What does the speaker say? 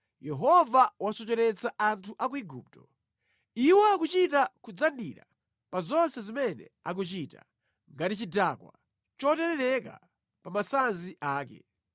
Yehova wasocheretsa anthu a ku Igupto. Iwo akuchita kudzandira pa zonse zimene akuchita, ngati chidakwa choterereka pa masanzi ake.